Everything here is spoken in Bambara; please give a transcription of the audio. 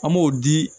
An b'o di